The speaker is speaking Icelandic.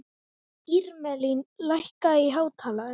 Irmelín, lækkaðu í hátalaranum.